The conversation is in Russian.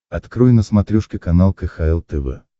открой на смотрешке канал кхл тв